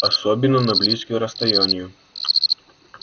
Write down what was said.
особенно на близкие расстояния